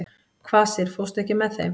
Kvasir, ekki fórstu með þeim?